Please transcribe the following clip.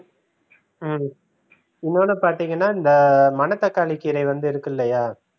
ஹம் இன்னொன்னு பார்த்தீங்கன்னா இந்த மணத்தக்காளி கீரை வந்து இருக்குல்லயா